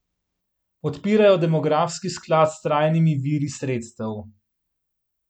Podpirajo demografski sklad s trajnimi viri sredstev.